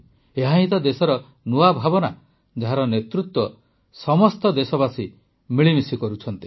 ଏହାହିଁ ତ ଦେଶର ନୂଆ ଭାବନା ଯାହାର ନେତୃତ୍ୱ ସମସ୍ତ ଦେଶବାସୀ ମିଳିମିଶି କରୁଛନ୍ତି